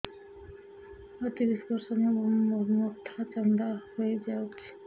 ମୋ ତିରିଶ ବର୍ଷ ମୋ ମୋଥା ଚାନ୍ଦା ହଇଯାଇଛି